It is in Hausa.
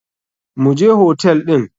Mu je hotel ɗin.